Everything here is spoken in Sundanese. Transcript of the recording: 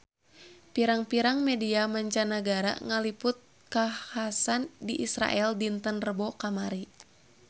Pirang-pirang media mancanagara ngaliput kakhasan di Israel dinten Rebo kamari